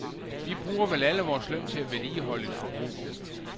Vi bruger vel alle vores løn til at vedligeholde et forbrug.